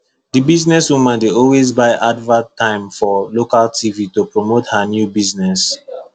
the businesswoman dey always buy advert time for local tv to promote her new business